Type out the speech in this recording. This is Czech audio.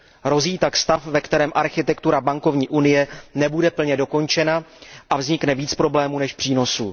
Hrozí tak stav, ve kterém architektura bankovní unie nebude plně dokončena a vznikne víc problémů než přínosů.